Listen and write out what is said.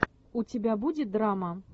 у тебя будет драма